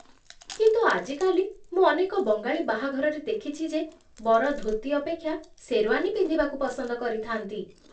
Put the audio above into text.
କିନ୍ତୁ ଆଜିକାଲି, ମୁଁ ଅନେକ ବଙ୍ଗାଳି ବାହାଘରରେ ଦେଖିଛି ଯେ ବର ଧୋତି ଅପେକ୍ଷା ଶେର୍ୱାନୀ ପିନ୍ଧିବାକୁ ପସନ୍ଦ କରିଥାନ୍ତି